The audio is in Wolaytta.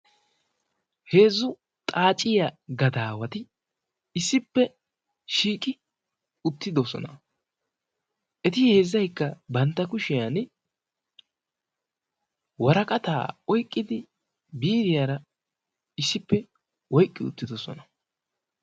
Heezzu xaaciya gadaawati issippe shiiqi uttidosona eti heezzaykka bantta kushiyan waraqataa oiqqidi biiriyaara issippe oyqqi uttidosona.